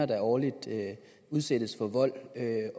der årligt udsættes for vold er